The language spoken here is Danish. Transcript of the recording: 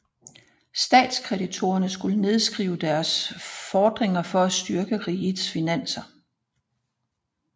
Statskreditorerne skulle nedskrive deres fordringer for at styrke rigets finanser